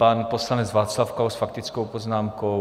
Pan poslanec Václav Klaus s faktickou poznámkou.